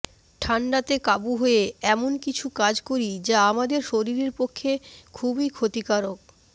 ঠান্ডাতে কাবু হয়ে এমন কিছু কাজ করি যা আমাদের শরীরের পক্ষে খুবই ক্ষতিকারক